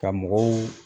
Ka mɔgɔw